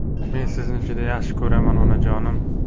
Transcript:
Men sizni juda yaxshi ko‘raman, onajonim!